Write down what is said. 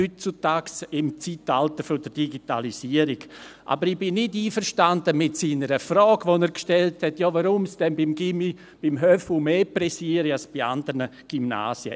Aber ich bin nicht einverstanden mit der Frage, die er gestellt hat, weshalb es bei diesem Gymnasium, beim «Höfu», mehr eile als bei anderen Gymnasien.